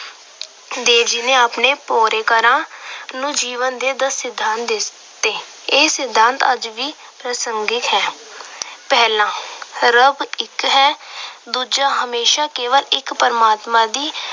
ਦੇਵ ਜੀ ਨੇ ਆਪਣੇ ਨੂੰ ਜੀਵਨ ਦੇ ਦਸ ਸਿਧਾਂਤ ਦਿੱਤੇ। ਇਹ ਸਿਧਾਂਤ ਅੱਜ ਵੀ ਪ੍ਰਸੰਗਿਤ ਹੈ। ਪਹਿਲਾ-ਰੱਬ ਇੱਕ ਹੈ। ਦੂਜਾ- ਹਮੇਸ਼ਾ ਕੇਵਲ ਇੱਕ ਪਰਮਾਤਮਾ ਦੀ